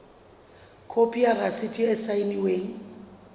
khopi ya rasiti e saennweng